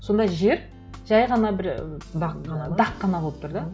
сонда жер жай ғана бір дақ қана ма дақ қана болып тұр да